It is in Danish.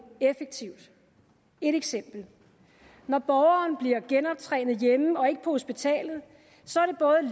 effektivt et eksempel når borgeren bliver genoptrænet hjemme og ikke på hospitalet